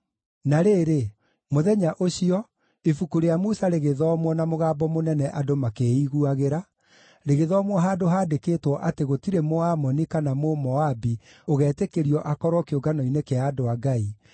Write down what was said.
Na rĩrĩ, mũthenya ũcio, Ibuku rĩa Musa rĩgĩthomwo na mũgambo mũnene andũ makĩĩiguagĩra, rĩgĩthomwo handũ haandĩkĩtwo atĩ gũtirĩ Mũamoni kana Mũmoabi ũgetĩkĩrio akorwo kĩũngano-inĩ kĩa andũ a Ngai,